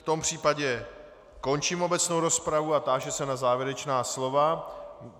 V tom případě končím obecnou rozpravu a táži se na závěrečná slova.